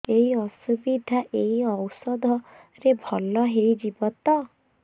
ଏଇ ଅସୁବିଧା ଏଇ ଔଷଧ ରେ ଭଲ ହେଇଯିବ ତ